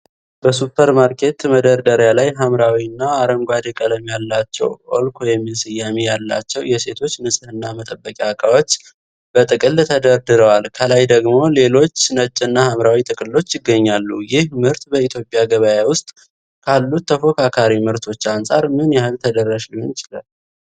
በሱፐርማርኬት መደርደሪያ ላይ፣ ሐምራዊ እና አረንጓዴ ቀለም ያላቸው"ኦልኮ"የሚል ስያሜ ያላቸው የሴቶች ንጽህና መጠበቂያ እቃዎች በጥቅል ተደርድረዋል። ከላይ ደግሞ ሌሎች ነጭና ሐምራዊ ጥቅሎች ይገኛሉ። ይህ ምርት በኢትዮጵያ ገበያ ውስጥ ካሉት ተፎካካሪ ምርቶች አንጻር ምን ያህል ተደራሽ ሊሆን ይችላል?